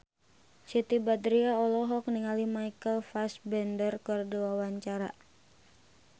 Siti Badriah olohok ningali Michael Fassbender keur diwawancara